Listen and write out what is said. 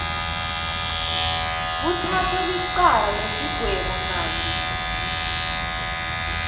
kutsatsa licala nesigwebonchanti